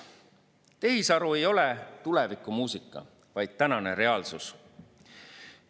Tehisaru ei ole tulevikumuusika, vaid tänane reaalsus.